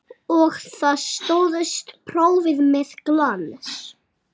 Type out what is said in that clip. Og stóðst prófið með glans.